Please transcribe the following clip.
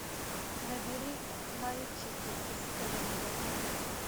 набери мальчики из календаря